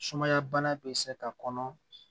Sumaya bana bɛ se ka kɔnɔ